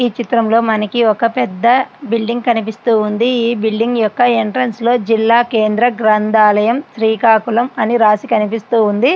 ఈ చిత్రంలో మనకి ఒక పెద్ద బిల్డింగు కనిపిస్తూ ఉంది .ఈ బిల్డింగ్ యొక్క ఎంట్రన్స్ లోని జిల్లా కేంద్రంలో శ్రీకాకుళం అని రాసి కనిపిస్తూ ఉంది.